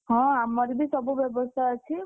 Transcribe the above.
ହଁ ଆମର ବି ସବୁ ବ୍ୟବସ୍ଥା ଅଛି।